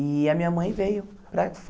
E a minha mãe veio, para foi